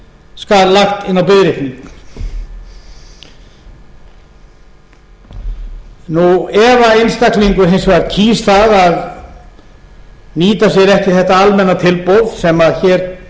skal lagt inn á biðreikning ef einstaklingur hins vegar kýs að nýta sér ekki þetta almenna tilboð sem hér